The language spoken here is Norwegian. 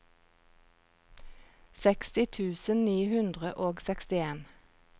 seksti tusen ni hundre og sekstien